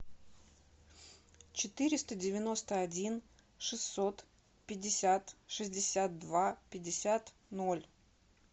четыреста девяносто один шестьсот пятьдесят шестьдесят два пятьдесят ноль